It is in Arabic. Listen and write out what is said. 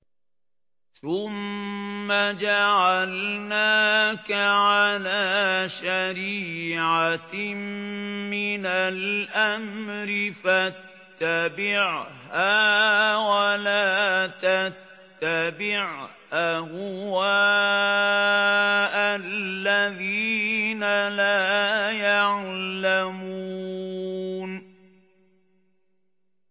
ثُمَّ جَعَلْنَاكَ عَلَىٰ شَرِيعَةٍ مِّنَ الْأَمْرِ فَاتَّبِعْهَا وَلَا تَتَّبِعْ أَهْوَاءَ الَّذِينَ لَا يَعْلَمُونَ